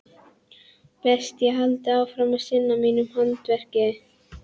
Best ég haldi áfram að sinna mínu handverki.